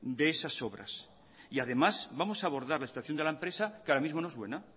de esas obras además vamos a abordar la situación de la empresa que ahora mismo no es buena